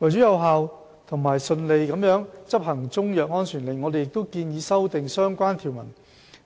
為有效和順利地執行中藥安全令，我們亦建議修訂相關條文，